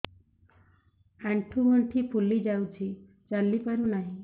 ଆଂଠୁ ଗଂଠି ଫୁଲି ଯାଉଛି ଚାଲି ପାରୁ ନାହିଁ